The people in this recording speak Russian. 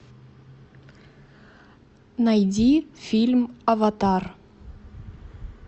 найди фильм аватар